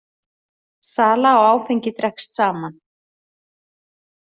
Sala á áfengi dregst saman